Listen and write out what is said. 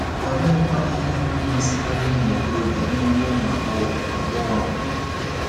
Oleekwanụ ihe na-amasịkarị ụmụ okorobịa n’ebe ụmụ agbọghọ agbọghọ nọ?